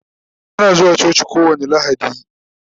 Ana zuwa coci kowani lahadi